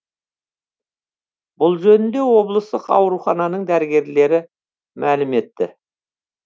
бұл жөнінде облыстық аурухананың дәрігерлері мәлім етті